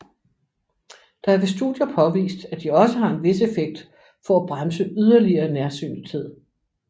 Der er ved studier påvist at de også har en vis effekt for at bremse yderligere nærsynethed